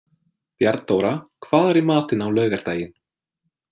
Bjarnþóra, hvað er í matinn á laugardaginn?